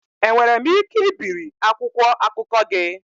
Enwere m ike ibiri akwụkwọ akụkọ gị?